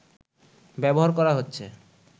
ব্যবহার করা হচ্ছে